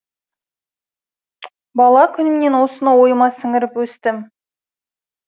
бала күнімнен осыны ойыма сіңіріп өстім